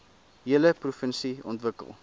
hele provinsie ontwikkel